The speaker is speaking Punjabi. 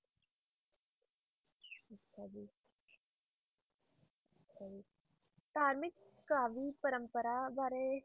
ਧਾਰਮਿਕ ਕਾਵਿ ਪਰੰਪਰਾ ਬਾਰੇ